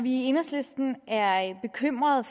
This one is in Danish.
i enhedslisten er bekymrede